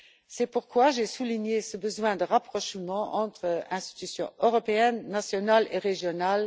C'est pourquoi j'ai souligné ce besoin de rapprochement entre institutions européennes, nationales et régionales.